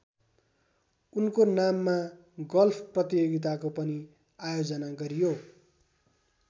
उनको नाममा गल्फ प्रतियोगिताको पनि आयोजना गरियो।